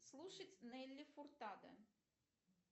слушать нелли фуртадо